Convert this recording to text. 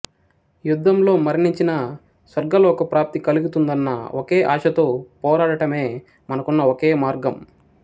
యుద్ధంలో మరణించిన స్వర్గలోక ప్రాప్తి కలుగుతుందన్న ఒకే ఆశతో పోరాడటమే మనకున్న ఒకే మార్గం